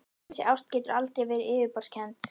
Þessi ást getur aldrei verið yfirborðskennd.